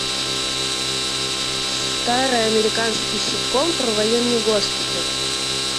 старый американский ситком про военный госпиталь